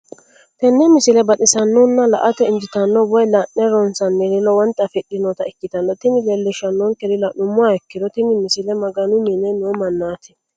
tenne misile baxisannonna la"ate injiitanno woy la'ne ronsannire lowote afidhinota ikkitanna tini leellishshannonkeri la'nummoha ikkiro tini misile maganu mine noo mannaati.